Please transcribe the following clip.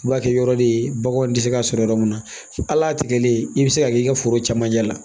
I b'a kɛ yɔrɔ de ye baganw tɛ se ka sɔrɔ yɔrɔ min na al'a tigɛlen i bɛ se ka k'i ka foro camancɛ la